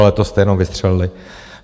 Ale to jste jenom vystřelili.